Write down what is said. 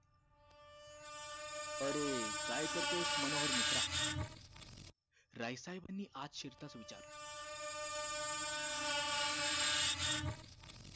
अरे काय करतोयस मनोहर मित्रा राय साहेबानी आत शिरताच विचारलं